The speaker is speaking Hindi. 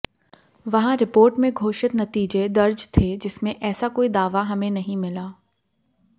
वहां रिपोर्ट में घोषित नतीजे दर्ज थे जिसमें ऐसा कोई दावा हमें नहीं मिला